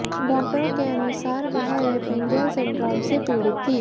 डॉक्टरों के अनुसारवह रेपेन्जल सिंड्रोम से पीडित थी